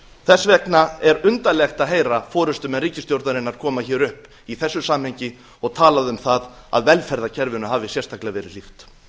þess vegna er undarlegt að heyra forustumenn ríkisstjórnarinnar koma hér upp í þessu samhengi og talað um það að velferðarkerfinu hafi sérstaklega verið hlíft